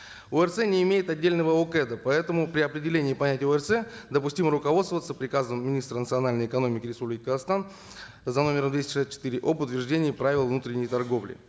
орц не имеет отдельного окэд а поэтому при определении понятия орц допустимо руководствоваться приказом министра национальной экономики республики казахстан за номером двести шестьдесят четыре о подтверждении правил внутренней торговли